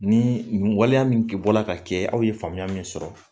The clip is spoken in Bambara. Ni nin waleya min bɔla ka kɛ aw ye faamuya min sɔrɔ